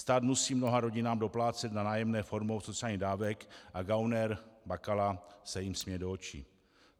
Stát musí mnoha rodinám doplácet na nájemné formou sociálních dávek a gauner Bakala se jim směje do očí.